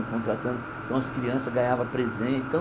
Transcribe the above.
Contratando então as crianças ganhavam presentes. Então